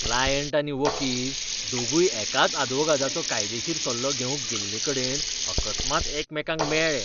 Client आनी वकील दोगूय एकाच आदवोगादाचो कायदेशीर सल्लो घेवंक गेल्लेकडेन अकस्मात एकामेकांक मेळ्ळे.